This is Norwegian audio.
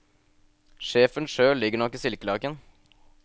Sjefen sjøl ligger nok i silkelaken.